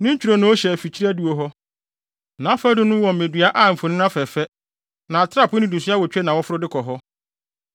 Ne ntwironoo hwɛ afikyiri adiwo hɔ; nʼafadum ho wɔ mmedua a mfoni afɛɛfɛ, na atrapoe nnidiso awotwe na wɔforo de kɔ hɔ.